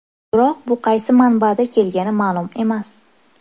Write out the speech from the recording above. Biroq bu qaysi manbada kelgani ma’lum emas.